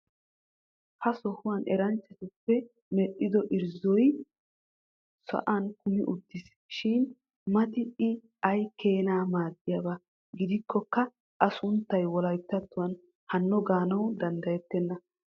Ha sohuwan eranchchatuppe medhdhido irziizzoy sa'an kummi uttiis. Shin mati i ay keena maadiyaba gidikkokka a sunttaa wolayttattuwan hanno gaana danddayettenna.